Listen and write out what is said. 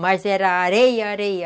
Mas era areia, areia.